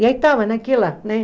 E aí estava naquela, né?